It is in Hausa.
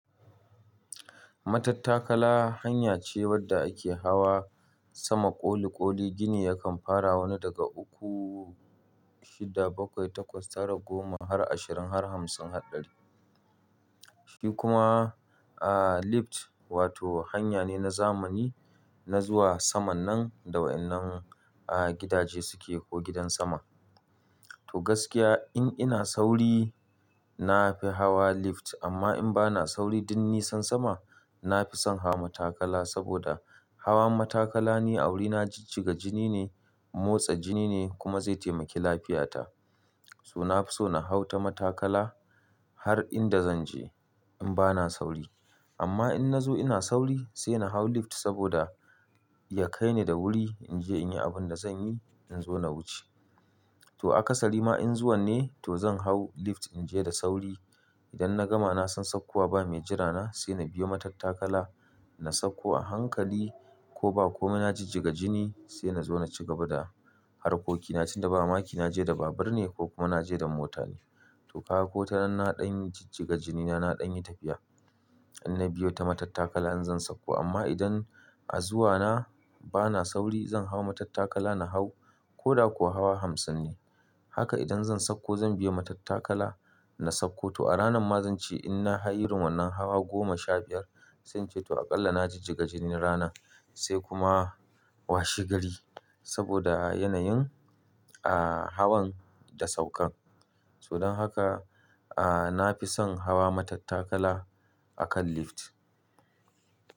Matattakala hanya ce wadda ake hawa sama ƙoli-ƙoli, gini yakan fara wani daga uku, shida, bakwai, takwas, tara, goma, har ashirin, har hamsin, har ɗari. Shi kuma, ah, lift wato hanya ne na zamani na zuwa saman nan da waɗannan, ah, gidaje suke ko gidan sama. To gaskiya in ina sauri na fi hawa lift amma in bana sauri, duk nisan sama na fi son hawa matattakala saboda hawan matattakala ne a wurina jijjiga jini ne, motsa jini ne kuma zai taimaki lafiyata. To na fi so na hau ta matattakala har inda zan je in bana sauri. Amma in na zo ina sauri sai na hau lift saboda ya kai ni da wuri in je in yi abin da zan yi in zo na wuce. To a ƙasari ma in zuwa ne to zan hau lift in je da sauri. Idan na gama na san saukowa ba mai jira na sai na biyo matattakala na sauko a hankali ko ba ko na jijjiga jini sai na zo na ci gaba da harkokina. Tun da ba makina je da babur ne ko kuma na je da mota ne. To kaga ko ta nan na ɗan jijjiga jinina na ɗan yi tafiya. In na biyo ta matattakala in zan sauko amma idan a zuwa na bana sauri zan hau matattakala na hau ko da kuwa hawa hamsin ne. Haka idan zan sauko zan biya matattakala na sauko. To a ranar ma zan ce in na hay yunwan nan hawa goma, sha biyar zan ce to aƙalla na jijjiga jini ranar sai kuma washi gari saboda yanayin, ah, hawan da saukan. Don haka, ah, na fi son hawa matattakala akan lift.